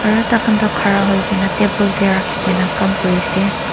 aro takan tho ghara hoi kina table de raki kina kam kuri ase.